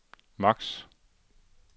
max